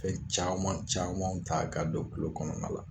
Fɛn caman camanw ta ka don tulo kɔnɔna la